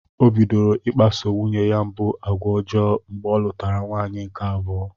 O bidoro i kpaso nwunye mbụ agwa ọjọọ mgbe ọ lụtara nwaanyị nke abụọ.